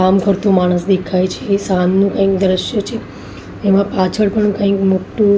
કામ કરતો માણસ દેખાય છે. સાંજનો કાઈ દ્રશ્ય છે. એમાં પાછળ પણ કાંઈ મોટું--